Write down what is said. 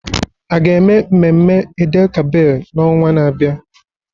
A ga-eme mmemme Eid-el-Kabir n'ọnwa na-abịa?